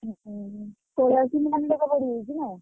ହୁଁ ହୁଁ ଛାତ ଫାତ ପଡ଼ିଯାଇଛି ନା?